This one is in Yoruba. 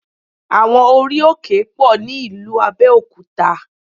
Àwọn orí-òkè pọ̀ ní ìlú Abẹ́òkúta